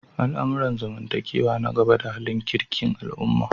Al'amuran zamantakewa na gaba da halin kirkin al'umma.